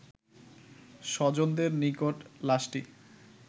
স্বজনদের নিকট লাশটি